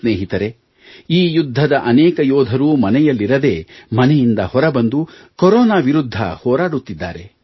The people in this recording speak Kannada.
ಸ್ನೇಹಿತರೇ ಈ ಯುದ್ಧದ ಅನೇಕ ಯೋಧರು ಮನೆಯಲ್ಲಿರದೇ ಮನೆಯಿಂದ ಹೊರಬಂದು ಕರೋನಾ ವಿರುದ್ಧ ಹೋರಾಡುತ್ತಿದ್ದಾರೆ